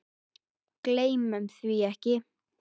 Gleymum því ekki.